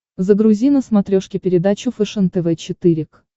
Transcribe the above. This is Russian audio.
загрузи на смотрешке передачу фэшен тв четыре к